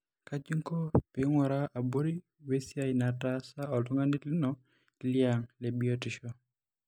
kaji ingoo pingura abori we siai nataasa oltungani lino liang lebiotisho?